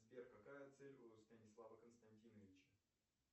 сбер какая цель у станислава константиновича